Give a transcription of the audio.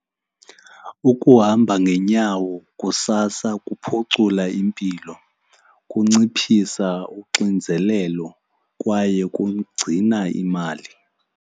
Ukuhamba ngeenyawo kusasa kuphucula impilo, kunciphisa unxinzelelo kwaye kugcina imali.